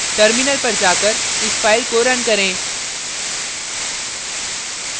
terminal पर जाकर इस file को run करें